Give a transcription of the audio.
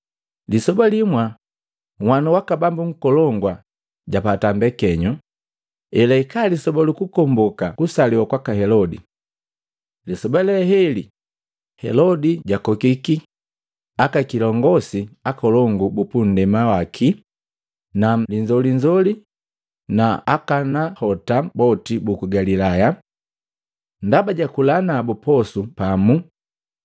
Lisoba limwa nhwanu waka bambu nkolongu japata mbekenyo, elahika lisoba lukukomboka kusaliwa kwaka Helode. Lisoba le heli Helodi jakokiki, akakiongosi akolongu bupundema waki na linzolinzoli na akanahota boti buku Galilaya. Ndaba jakula nabu posu pamu.